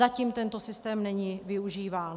Zatím tento systém není využíván.